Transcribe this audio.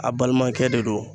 A' balimakɛ de don.